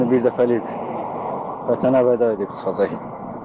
Yəni bir dəfəlik vətənə vəda edib çıxacaq.